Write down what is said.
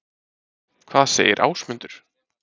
Hvað segir Ásmundur?